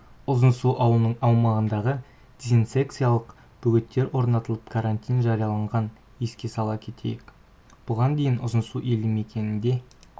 ұзынсу ауылының аумағында дисенсекциялық бөгеттер орнатылып карантин жарияланған еске сала кетейік бұған дейін ұзынсу елді мекенінде